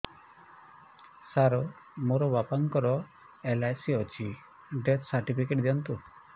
ସାର ମୋର ବାପା ଙ୍କର ଏଲ.ଆଇ.ସି ଅଛି ଡେଥ ସର୍ଟିଫିକେଟ ଦିଅନ୍ତୁ